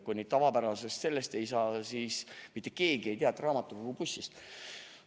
Kui nüüd tavapärasest raamatukogust ei saa, siis mitte keegi ei tea raamatukogubussist.